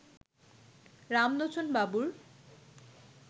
রামলোচনবাবুর